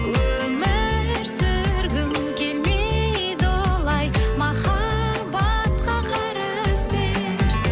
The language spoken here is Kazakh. өмір сүргім келмейді олай махаббатқа қарызбен